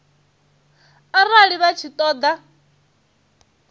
arali vha tshi ṱo ḓa